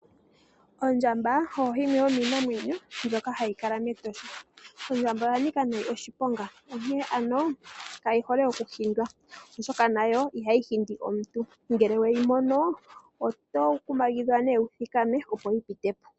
Ondjamba oyi yimwe yomiinamwenyo mbyoka hayi kala meEtosha . Ondjamba oya nika oshiponga onkene ano kayi hole oku hindwa, oshoka nayo ihayi hindi omuntu, onkene ano ngele weyi mono oto kumagidhwa opo wu thikame yi pite po.